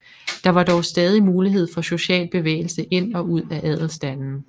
Der var dog stadig mulighed for social bevægelse ind og ud af adelsstanden